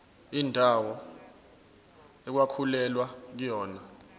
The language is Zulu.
indawo okwakulwelwa kuyona